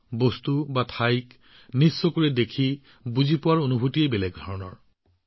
বস্তু বা ঠাইবোৰ ব্যক্তিগতভাৱে দেখা বুজি পোৱা আৰু কেইটামান মুহূৰ্তৰ বাবে জীয়াই থকাটোৱে এক বেলেগ অভিজ্ঞতা দিয়ে